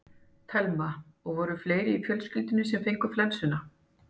Telma: Og voru fleiri í fjölskyldunni sem fengu flensuna?